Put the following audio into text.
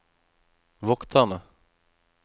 vokterne